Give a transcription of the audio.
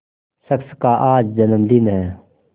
शख्स का आज जन्मदिन है